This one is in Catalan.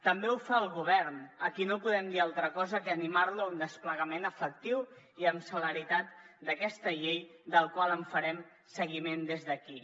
també ho fa el govern a qui no podem dir altra cosa que animar lo a fer un desplegament efectiu i amb celeritat d’aquesta llei del qual en farem seguiment des d’aquí